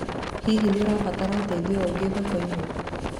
Hihi nĩ ũrabatara ũteithio ũngĩ thoko-inĩ?